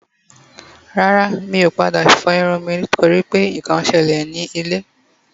Rara. Mi o pada fo irun mi nitori nkankan sele ni ile